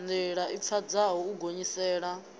ndila i pfadzaho u gonyisela